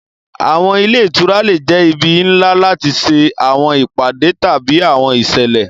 Awọn ile itura le jẹ ibi nla lati ṣe awọn ipade tabi awọn iṣẹlẹ.